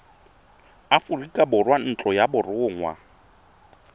aforika borwa ntlo ya borongwa